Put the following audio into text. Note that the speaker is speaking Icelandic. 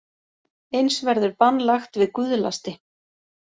Eins verður bann lagt við guðlasti